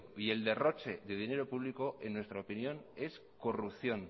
y el derroche de dinero público en nuestra opinión